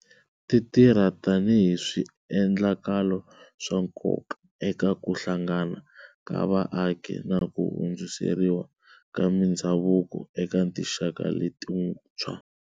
Ti tirha tanihi swiendlakalo swa nkoka eka ku hlangana ka vaaki na ku hundziseriwa ka mindhavuko eka tinxaka letintshwa.